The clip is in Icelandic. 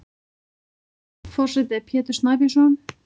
Forseti er Pétur Snæbjörnsson.